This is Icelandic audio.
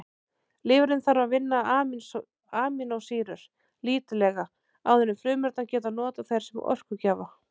Lifrin þarf að vinna amínósýrur lítillega áður en frumurnar geta notað þær sem orkugjafa.